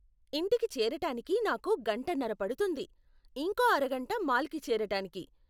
ఇంటికి చేరటానికి నాకు గంటన్నర పడుతుంది, ఇంకో అరగంట మాల్కి చేరటానికి.